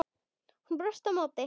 Hún brosti á móti.